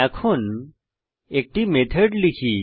এখন একটি মেথড লিখি